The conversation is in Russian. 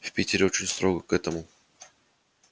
в питере очень строго к этому